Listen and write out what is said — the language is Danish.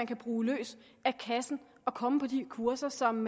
kan bruge løs af kassen og komme på de kurser som